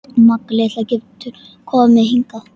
Magga litla getur komið hingað.